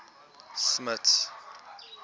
smuts